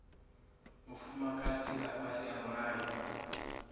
mufumakadzi nga fhasi ha mulayo